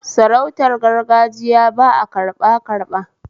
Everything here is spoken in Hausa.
Sarautar gargagiya ba a karɓa karɓa